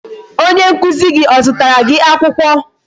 Onye nkụzi gị o zụtara gị akwụkwọ?